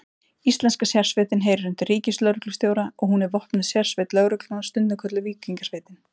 Íslenska sérsveitin heyrir undir ríkislögreglustjóra og er hún vopnuð sérsveit lögreglunnar, stundum kölluð Víkingasveitin.